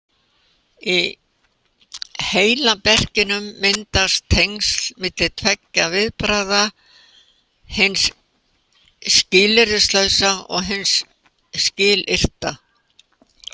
Í heilaberkinum myndast tengsl milli tveggja viðbragða, hins skilyrðislausa og hins skilyrta.